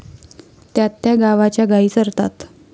त्यात त्या गावाच्या गाई चरतात.